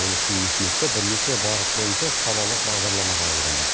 ол үшін үкіметте бірнеше бағыт бойынша салалық бағдарлама қабылданды